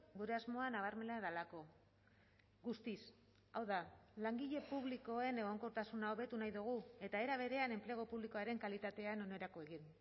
gure asmoa nabarmena delako guztiz hau da langile publikoen egonkortasuna hobetu nahi dugu eta era berean enplegu publikoaren kalitatean onerako egin